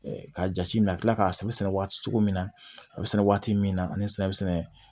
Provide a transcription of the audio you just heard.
K'a jate minɛ ka kila k'a sɛbɛn sɛnɛ waati cogo min na a bɛ sɛnɛ waati min na ani sɛnɛ bɛ sɛnɛ